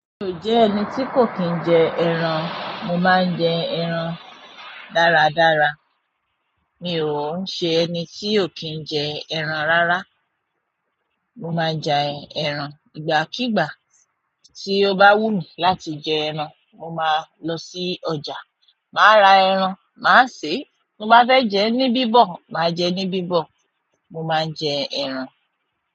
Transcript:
Mi ò jẹ ẹni tí kò kìí ń jẹ ẹran, mo máa ń jẹ ẹran dára dára mi o ń ṣe ẹni tí ò kì n jẹ ẹran rárá. Mo máa ń jẹ ẹran, ìgbà kigbà tí ó bá wùn mí láti jẹ ẹran. Mo máa lọ sí ọjà, màá ra ẹran, màá sè. Mo bá fẹ́ jẹ ní bíbọ̀, màá jẹ ní bíbọ̀. Mo máa ń jẹ ẹran.